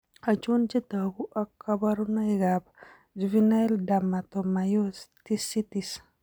Achon chetogu ak kaborunoik ab juvenile dermatomyositis